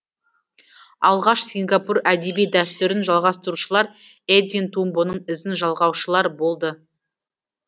алғаш сингапур әдеби дәстүрін жалғастырушылар эдвин тумбоның ізін жалғаушылар болды